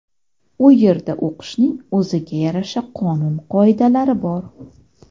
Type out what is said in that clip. U yerda o‘qishning o‘ziga yarasha-qonun qoidalari bor.